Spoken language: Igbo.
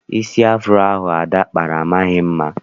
Isi afuro ahụ Ada kpara amaghị mma.